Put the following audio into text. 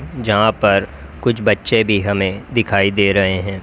जहां पर कुछ बच्चे भी हमें दिखाई दे रहे है।